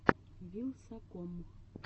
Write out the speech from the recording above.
вилсаком